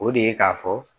O de ye k'a fɔ